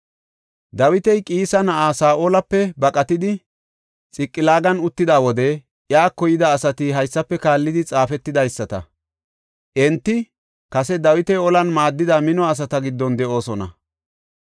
Dawiti Qiisa na7aa Saa7olape baqatidi Xiqilaagan uttida wode iyako yida asati haysafe kaallidi xaafetidaysata. Enta kase Dawita olan maaddida mino asata giddon de7oosona.